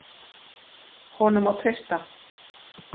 Honum má treysta.